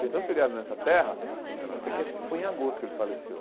Tem tanto feriado nessa terra... Sei que acho que foi em agosto que ele faleceu.